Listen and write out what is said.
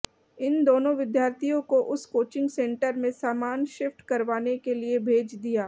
इन दोनों विद्यार्थियों को उस कोचिंग सेंटर में सामान शिफ्ट करवाने के लिए भेज दिया